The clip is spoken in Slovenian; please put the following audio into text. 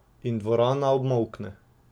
In dvorana obmolkne.